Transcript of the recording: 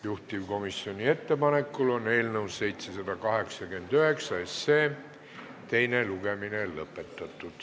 Juhtivkomisjoni ettepanekul on eelnõu 789 teine lugemine lõpetatud.